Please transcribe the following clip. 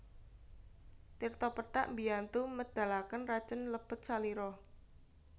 Tirta pethak mbiyantu medhalaken racun lebet salira